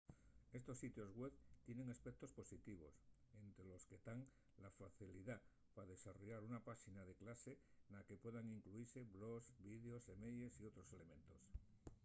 estos sitios web tienen aspectos positivos ente los que tán la facilidá pa desarrollar una páxina de clase na que puedan incluise blogs vídeos semeyes y otros elementos